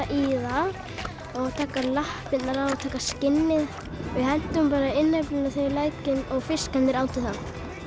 í það og taka lappirnar af og taka skinnið við hentum innyflunum í lækinn og fiskarnir átu það